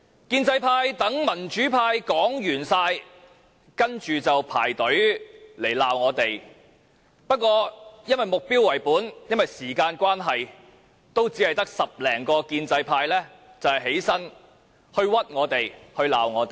建制派待民主派所有議員發言後，便排隊罵我們，但因為目標為本和時間關係，只有10多名建制派議員站起來冤枉我們，責罵我們。